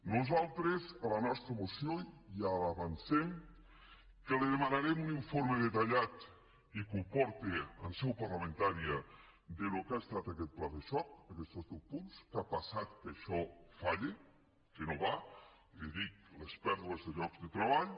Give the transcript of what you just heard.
nosaltres en la nostra moció ja li avancem que li demanarem un informe detallat i que el porti en seu parlamentària del que ha estat aquest pla de xoc d’aquestos deu punts què ha passat que això falla que no va i li dic les pèrdues de llocs de treball